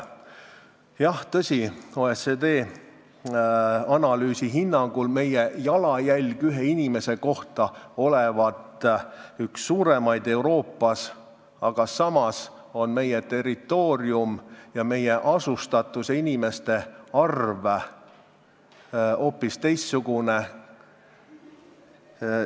Jah, tõsi, OECD analüüsi hinnangul olevat meie jalajälg ühe inimese kohta üks suuremaid Euroopas, aga samas on meie territoorium, selle asustatus ning inimeste arv hoopis teistsugused.